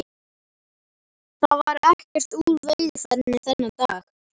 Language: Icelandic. Það varð ekkert úr veiðiferðinni þennan dag.